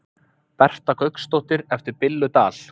Berta Gauksdóttir eftir Billu Dal